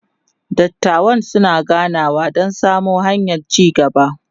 dattawan suna ganawa Dan samo hanyan ci gaba